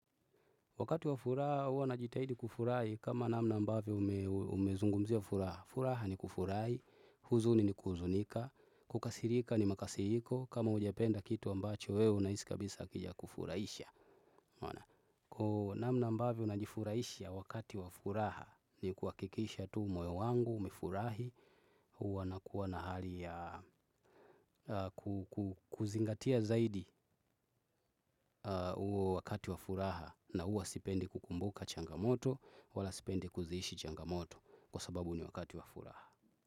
Wakati wa furaha huwa najitahidi kufurahi kama namna ambavyo umezungumzia furaha. Furaha ni kufurahi, huzuni ni kuhuzunika, kukasirika ni makasiriko, kama hujapenda kitu ambacho wewe unahisi kabisa hakijakufurahisha. Namna ambavyo najifurahisha wakati wa furaha ni kuhakikisha tu moyo wangu umefurahi, huwa nakuwa na hali kuzingatia zaidi huo wakati wa furaha na huwa sipendi kukumbuka changamoto. Wala sipendi kuziishi changamoto kwa sababu ni wakati wa furaha.